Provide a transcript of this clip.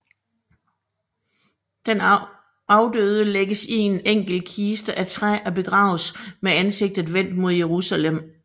Den afdøde lægges i en enkel kiste af træ og begraves med ansigtet vendt mod Jerusalem